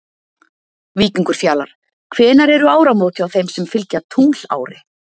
Víkingur Fjalar Hvenær eru áramót hjá þeim sem fylgja tunglári?